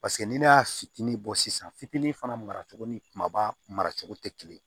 Paseke n'i ne y'a fitinin bɔ sisan fitinin fana mara cogo ni kumaba maracogo tɛ kelen ye